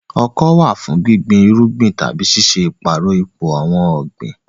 Ọkọ́ wà fún gbígbin irúgbìn tàbí ṣíṣe ìpààrọ̀ ipò àwọn ọ̀gbìn.